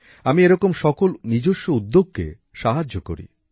আমি এরকম সকল নিজস্ব উদ্যোগকে সাহায্য করি